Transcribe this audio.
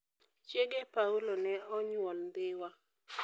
Chiege Paulo ne onyuol Dhiwa.